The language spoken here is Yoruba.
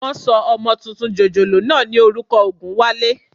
Wọ́n sọ ọmọ tuntun jòjòló náà ní orúkọ Ògúnwálé